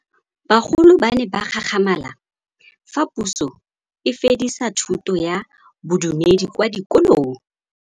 Bagolo ba ne ba gakgamala fa Pusô e fedisa thutô ya Bodumedi kwa dikolong.